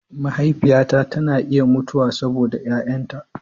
Mahaifiyata tana iya mutuwa saboda 'ya'yanta.